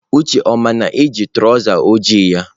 Uche ọ ma na ị ji traụza ojii ya?